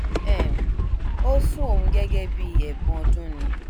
um ó fún òun gẹgẹ bíi ẹbùn ọdún ni